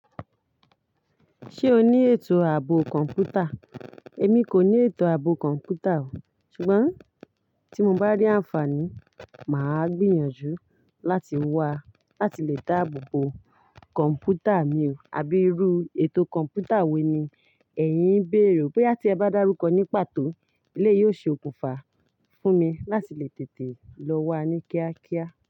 Ṣé o ní ètò ààbò kọ̀ǹpútà? Èmi kò ní ètò ààbò kọ̀ǹpútà o. Ṣùgbọ́n tí mo bá rí àǹfààní, màá gbìyànjú láti wá láti lè dáàbò bo kọ̀ǹpútà mi o. Abi iru ètò kọ̀ǹpútà wo ni èyin ń béèrè? Bóyá tí ẹ bá dárúkọ ní pàtó, eleyii ó ṣe òkùnfà fún mi láti lè tètè lọ wá ní kíákíá.